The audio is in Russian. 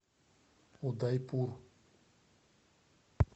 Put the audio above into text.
удайпур